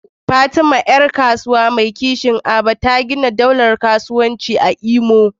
Fatima, ’yar kasuwa mai kishin Aba, ta gina daular kasuwanci a Imo.